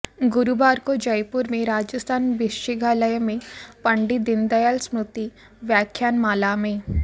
गुरूवार को जयुपर में राजस्थान विश्चिघालय में पंडित दीनदयाल स्मृति व्याख्यान माला में